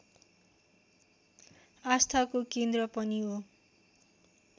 आस्थाको केन्द्र पनि हो